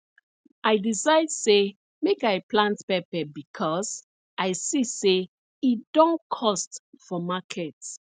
i decide say make i plant pepper becos i see say e don cost for market